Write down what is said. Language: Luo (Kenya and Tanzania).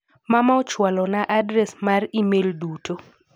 Mama ochwalo na adres mar imel duto.